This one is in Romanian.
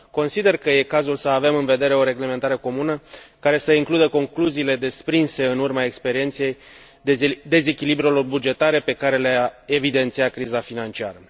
Consider că e cazul să avem în vedere o reglementare comună, care să includă concluziile desprinse în urma experienței dezechilibrelor bugetare pe care le a evidențiat criza financiară.